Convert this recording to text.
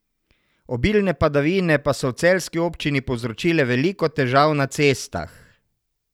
Obilne padavine pa so v celjski občini povzročile veliko težav na cestah.